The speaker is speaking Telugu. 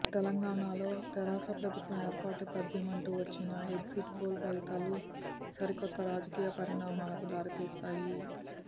తెలంగాణలో తెరాస ప్రభుత్వ ఏర్పాటు తథ్యమంటూ వచ్చిన ఎగ్జిట్ పోల్ ఫలితాలు సరికొత్త రాజకీయ పరిణామాలకు దారితీస్తాయి